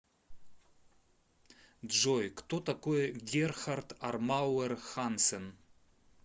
джой кто такой герхард армауэр хансен